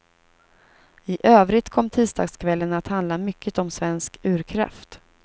I övrigt kom tisdagskvällen att handla mycket om svensk urkraft.